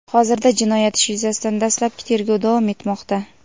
hozirda jinoyat ishi yuzasidan dastlabki tergov davom etmoqda.